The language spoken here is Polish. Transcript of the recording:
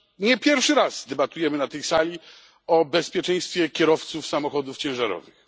Nie pierwszy raz debatujemy w tej sali o bezpieczeństwie kierowców samochodów ciężarowych.